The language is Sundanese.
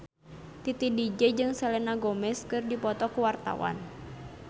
Titi DJ jeung Selena Gomez keur dipoto ku wartawan